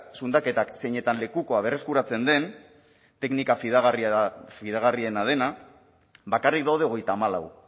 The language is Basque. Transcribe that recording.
zundaketak zeinetan lekukoa berreskuratzen den teknika fidagarria dena bakarrik daude hogeita hamalau